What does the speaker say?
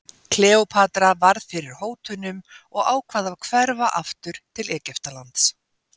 Kleópatra varð fyrir hótunum og ákvað að hverfa aftur til Egyptalands.